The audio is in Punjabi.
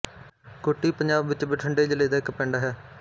ਕੁੱਟੀ ਪੰਜਾਬ ਵਿੱਚ ਬਠਿੰਡੇ ਜ਼ਿਲ੍ਹੇ ਦਾ ਇੱਕ ਪਿੰਡ ਹੈ